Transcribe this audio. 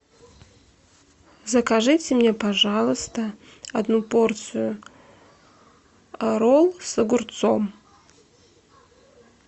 закажите мне пожалуйста одну порцию ролл с огурцом